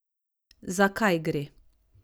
Za kaj gre?